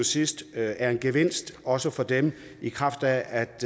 sidst er en gevinst også for dem i kraft af at